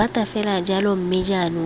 rata fela jalo mme jaanong